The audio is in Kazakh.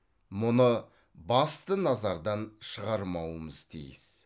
мұны басты назардан шығармауымыз тиіс